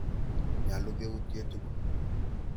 Nyalu keutye tukul.